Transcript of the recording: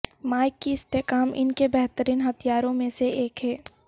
Mike کی استحکام ان کے بہترین ہتھیاروں میں سے ایک ہے